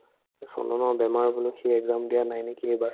চন্দনৰ বেমাৰ বোলে সি exam দিয়া নাই নেকি এইবাৰ